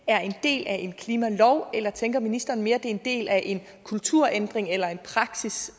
er en del af en klimalov eller tænker ministeren mere er en del af en kulturændring eller af en praksis